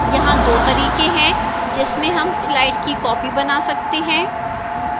यहां दो तरीके हैं जिसमें हम slide की copy बना सकते हैं